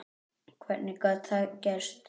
Hvernig gat það gerst?